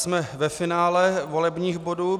Jsme ve finále volebních bodů.